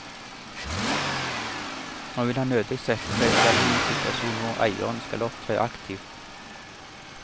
Nå vil han nødig sette seg selv i en situasjon hvor eieren skal opptre aktivt.